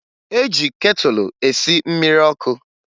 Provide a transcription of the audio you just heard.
E ji ketụlụ esi mmiri ọkụ